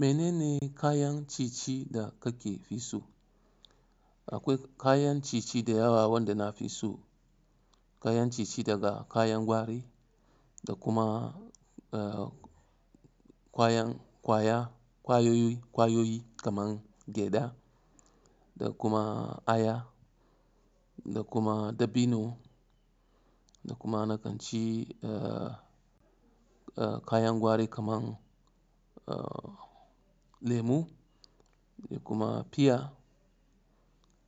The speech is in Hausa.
Mene ne kayan ciye-ciye da ka fi so? Akwai kayan ciye-ciye da yawa wanda na fi so. Kayan ciye-ciye daga kayan gwari da kuma ƙwayoyi kaman gyada da kuma aya da kuma dabino da kuma na kan ci kayan gwari kaman lemu da kuma fiya